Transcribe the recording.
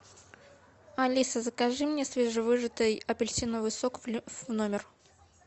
алиса закажи мне свежевыжатый апельсиновый сок в номер